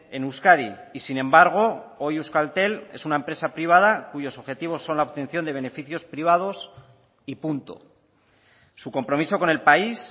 en euskadi y sin embargo hoy euskaltel es una empresa privada cuyos objetivos son la obtención de beneficios privados y punto su compromiso con el país